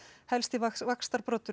helsti